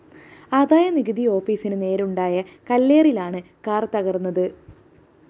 ആദായനികുതി ഓഫീസിന് നേരെയുണ്ടായ കല്ലേറിലാണ് കാർ തകര്‍ന്നത്